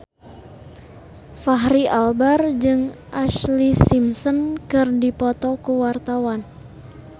Fachri Albar jeung Ashlee Simpson keur dipoto ku wartawan